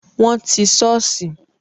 Wọn ti sọ́ọ̀sì